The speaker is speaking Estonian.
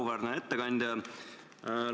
Auväärne ettekandja!